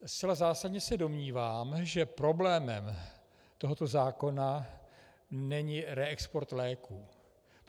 Zcela zásadně se domnívám, že problémem tohoto zákona není reexport léků.